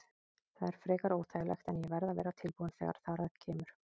Það er frekar óþægilegt en ég verð að vera tilbúinn þegar þar að kemur.